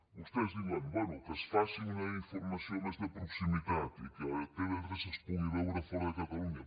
vostès diuen bé que es faci una informació més de proximitat i que tv3 es pugui veure fora de catalunya